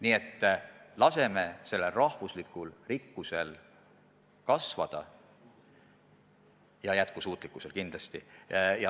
Nii et laseme sellel üldrahvalikul rikkusel kasvada ja jätkusuutlikkusel püsida.